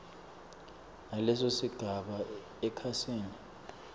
naleso sigaba ekhasini